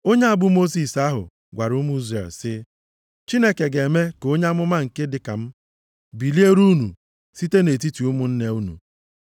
“Onye a bụ Mosis ahụ gwara ụmụ Izrel, sị, ‘Chineke ga-eme ka onye amụma nke dị ka m, biliere unu site nʼetiti ụmụnne unu.’ + 7:37 \+xt Dit 18:15\+xt*